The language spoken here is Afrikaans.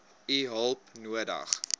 u hulp nodig